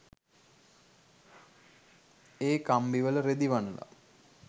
ඒ කම්බි වල රෙදි වනල.